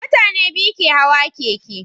Mutane biyu ke Hawa keke